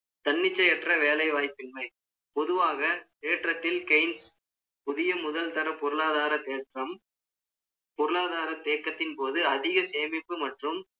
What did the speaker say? தன்னிச்சையற்ற வேலைவாய்ப்பின்மை, பொதுவாக ஏற்றத்தில் kains புதிய முதல்தர பொருளாதார தேற்றம், பொருளாதார தேக்கத்தின் போது, அதிக சேமிப்பு மற்றும்